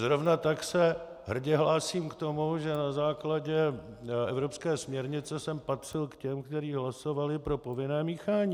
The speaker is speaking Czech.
Zrovna tak se hrdě hlásím k tomu, že na základě evropské směrnice jsem patřil k těm, kteří hlasovali pro povinné míchání.